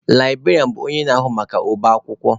Librarianụ bụ onye na-ahụ maka ọba akwụkwọ.